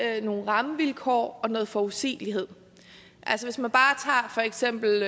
er nogle rammevilkår og noget forudsigelighed hvis man for eksempel